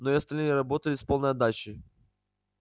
но и остальные работали с полной отдачей